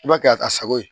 I b'a kɛ a ka sago ye